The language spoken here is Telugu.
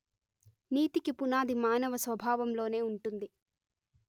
నీతికి పునాది మానవ స్వభావంలోనే ఉంటుంది